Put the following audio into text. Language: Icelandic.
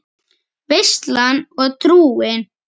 Veislan og trúin